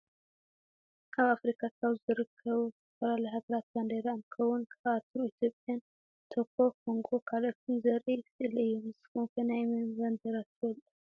ኣብ ኣፍሪካ ካብ ዝርከቡ ዝተፈላለያ ሃገራት ባንዴራ እንትከውን ካብኣቶም ኢትዮጵያን ቶኮ፣ ኮንጎ ካልኦትን ዘርኢ ስእሊ እዩ። ንስኩም ከ ናይ መን ባንዴራ ትፈልጡ?